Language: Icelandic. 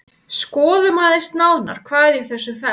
Skoðum aðeins nánar hvað í þessu felst.